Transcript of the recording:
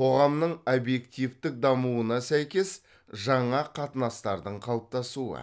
қоғамның обьективтік дамуына сәйкес жаңа қатынастардың қалыптасуы